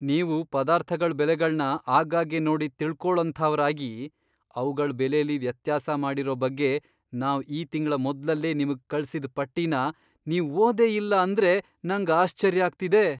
ನೀವು ಪದಾರ್ಥಗಳ್ ಬೆಲೆಗಳ್ನ ಆಗಾಗ್ಗೆ ನೋಡಿ ತಿಳ್ಕೊಳೋಂಥವ್ರಾಗಿ, ಅವ್ಗಳ್ ಬೆಲೆಲಿ ವ್ಯತ್ಯಾಸ ಮಾಡಿರೋ ಬಗ್ಗೆ ನಾವ್ ಈ ತಿಂಗ್ಳ ಮೊದ್ಲಲ್ಲೇ ನಿಮ್ಗ್ ಕಳ್ಸಿದ್ ಪಟ್ಟಿನ ನೀವ್ ಓದೇ ಇಲ್ಲ ಅಂದ್ರೆ ನಂಗ್ ಆಶ್ಚರ್ಯ ಆಗ್ತಿದೆ.